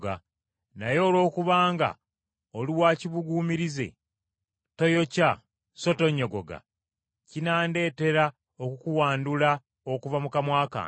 Naye olwokubanga oli wa kibuguumirize toyokya so tonnyogoga, kinaandetera okukuwandula okuva mu kamwa kange.